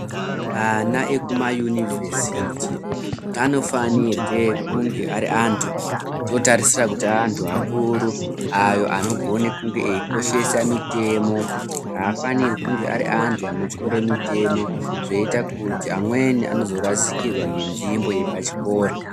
Ana ekuma univhesiti anofanirwe kunge ari antu atotarisira kuti antu akuru ayo anogona kunge eikoshesa mitemo. Haafanirwi kunge ari antu anotyore mitemo zvoita kuti amweni anozorasikirwa nenzvimbo yepachikora.